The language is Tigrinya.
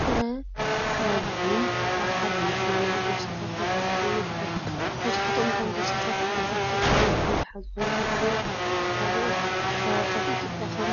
ጥረ ፍረ ቡን ኣብ ሓደ መኽዘን ኣብ ቦርሳታት ተደራሪቡ ይርከብ። መብዛሕትኦም እቶም ቦርሳታት ብኸፊል ፍረ ቡን ዝሓዙ ኮይኖም፡ ገሊኦም ካብ ካልኦት ከባቢታት ኢትዮጵያ ከም